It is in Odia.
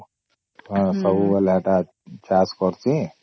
ସବୁ ବୋଲେ ଏଟା ଚାଷ କରୁଛେ